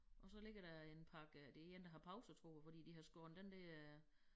Og så ligger der en pakke øh det én der har pause tror jeg fordi de har skåret den der øh